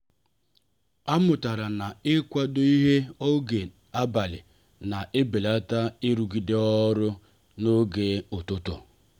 a mụtara na -kwado ịhe n'oge abalị na-ebelata irugide ọrụ n'oge ụtụtụ.